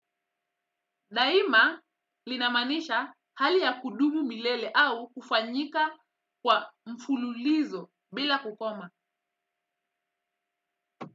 Daima linamaanisha hali ya kudumu milele au kufanyika kwa mfululizo bila kukoma.